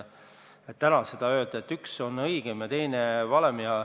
Täna ei saa öelda, et üks lahendus on õigem ja teine valem.